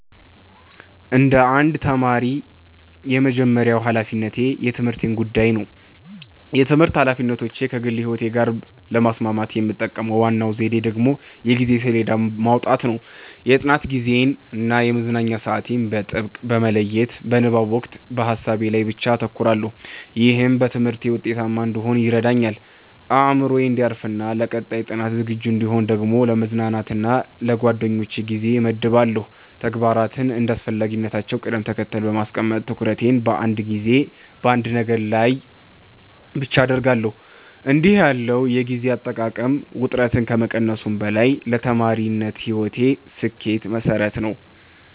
እንደ አንድ ተማሪ፣ የመጀመሪያው ሀላፊነቴ የትምህርቴ ጉዳይ ነው። የትምህርት ኃላፊነቶቼን ከግል ሕይወቴ ጋር ለማስማማት የምጠቀመው ዋናው ዘዴ ደግሞ የጊዜ ሰሌዳ ማውጣት ነው። የጥናት ጊዜዬን እና የመዝናኛ ሰዓቴን በጥብቅ በመለየት፣ በንባብ ወቅት በሀሳቤ ላይ ብቻ አተኩራለሁ። ይህም በትምህርቴ ውጤታማ እንድሆን ይረዳኛል። አእምሮዬ እንዲያርፍና ለቀጣይ ጥናት ዝግጁ እንድሆን ደግሞ ለመዝናናት እና ለጓደኞቼ ጊዜ እመድባለሁ። ተግባራትን እንደ አስፈላጊነታቸው ቅደም ተከተል በማስቀመጥ፣ ትኩረቴን በአንድ ጊዜ በአንድ ነገር ላይ ብቻ አደርጋለሁ። እንዲህ ያለው የጊዜ አጠቃቀም ውጥረትን ከመቀነሱም በላይ ለተማሪነት ሕይወቴ ስኬት መሠረት ነው።